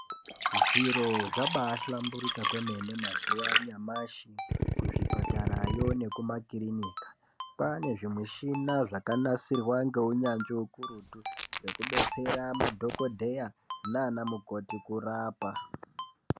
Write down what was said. Zviro zvabaa hlamburika kwemene mazuwa anyamashi kuzvipatara yo nekumakirinika kwaane zvimishina zvakanasirwa ngeunyanzvi ukurutu Zvekubetsera madhokodheya nana mukoti kurapa .